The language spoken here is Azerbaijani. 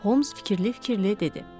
Holmes fikirli-fikirli dedi.